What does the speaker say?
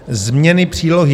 Změny přílohy